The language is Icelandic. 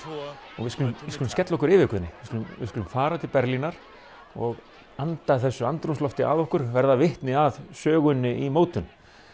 og við skulum við skulum skella okkur yfir Guðni við skulum við skulum fara til Berlínar og anda þessu andrúmslofti að okkur verða vitni að sögunni í mótun